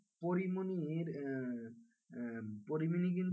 পরীমনির আহ পরীমনি কিন্তু,